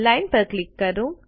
line પર click કરો